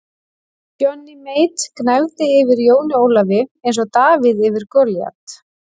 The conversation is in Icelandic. Johnny Mate gnæfði yfir Jóni Ólafi eins og Davíð yfir Golíat.